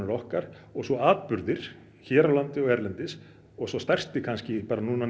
okkar og svo atburðir hér á landi og erlendis og sá stærsti kannski